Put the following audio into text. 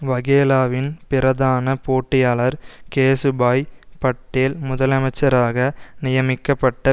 வகேலாவின் பிரதான போட்டியாளர் கேசுபாய் பட்டேல் முதலமைச்சராக நியமிக்கப்பட்ட